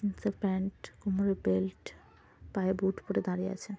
একটা প্যান্ট কোমরে বেল্ট পায়ে বুট পড়ে দাঁড়িয়ে আছে।